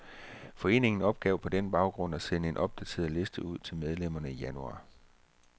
Foreningen opgav på den baggrund at sende en opdateret liste ud til medlemmerne i januar.